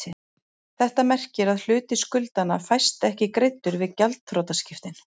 Þetta merkir að hluti skuldanna fæst ekki greiddur við gjaldþrotaskiptin.